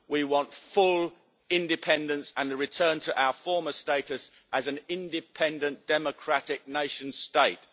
We want full independence and the return to our former status as an independent, democratic nation state.